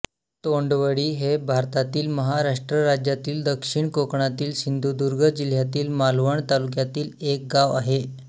तोंडवळी हे भारतातील महाराष्ट्र राज्यातील दक्षिण कोकणातील सिंधुदुर्ग जिल्ह्यातील मालवण तालुक्यातील एक गाव आहे